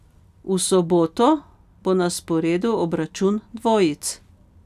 V soboto bo na sporedu obračun dvojic.